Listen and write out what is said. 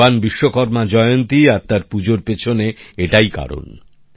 ভগবান বিশ্বকর্মা জয়ন্তী আর তার পুজোর পেছনে এটাই কারণ